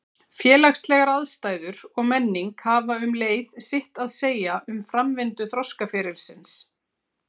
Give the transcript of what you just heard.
Félagslegar aðstæður og menning hafa um leið sitt að segja um framvindu þroskaferilsins.